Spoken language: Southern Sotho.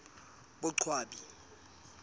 boqwabi